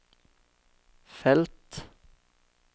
felt